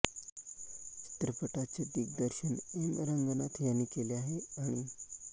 चित्रपटाचे दिग्दर्शन एम रंगनाथ यांनी केले आहे आणि